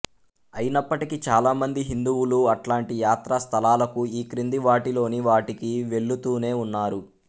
అయినప్పటికీ చాలామంది హిందువులు అట్లాంటి యాత్రా స్థలాలకు ఈ క్రింది వాటిలోని వాటికి వెళ్ళుతూనే ఉన్నారు